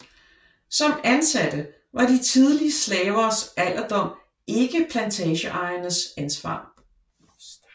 Som ansatte var de tidligere slavers alderdom ikke plantageejernes ansvar